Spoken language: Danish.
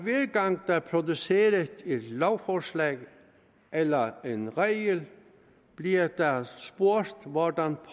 gang der produceres et lovforslag eller en regel bliver der spurgt hvordan